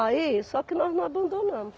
Aí, só que nós não abandonamos.